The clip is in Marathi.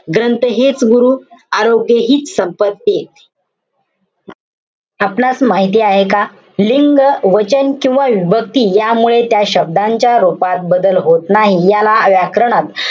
ग्रंथ हेच गुरु. आरोग्य हीच संपत्ती. आपणास माहिती आहे का? लिंग, वचन, किंवा विभक्ती यामुळे त्या शब्दांच्या रूपात बदल होत नाही. याला व्याकरणात,